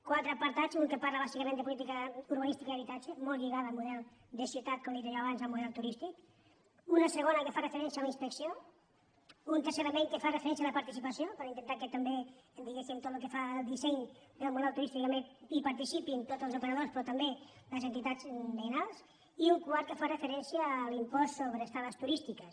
qua·tre apartats un que parla bàsicament de política ur·banística i habitatge molt lligada al model de ciutat com he dit jo abans al model turístic un segon que fa referència a la inspecció un tercer element que fa referència a la participació per intentar que també di·guéssim per tot el que fa al disseny del model turístic hi participin tots els operadors però també les entitats veïnals i un quart que fa referència a l’impost sobre estades turístiques